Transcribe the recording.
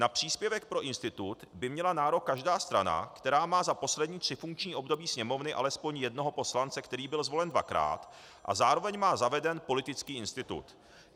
Na příspěvek pro institut by měla nárok každá strana, která má za poslední tři funkční období Sněmovny alespoň jednoho poslance, který byl zvolen dvakrát, a zároveň má zaveden politický institut.